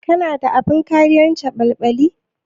Kana da abin kariyar caɓalɓali?